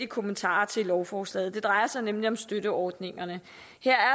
kommentarer til lovforslaget det drejer sig nemlig om støtteordningerne